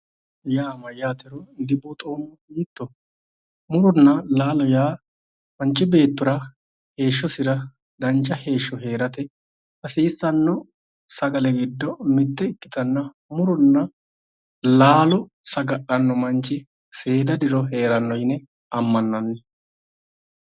Muronna laalo yaa mayatero dileelinoe dibuuxoommo yootto, murona laalo yaa manchi beettira heeshshosira dancha heeshsho heerate hasiisano sagale giddo mite ikkittanna muronna laalo saga'lano manchi seeda diro heerano yinne amananni.